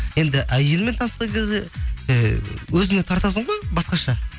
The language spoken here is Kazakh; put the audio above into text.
енді әйеліңмен танысқан кезде ы өзіңе тартасың ғой басқаша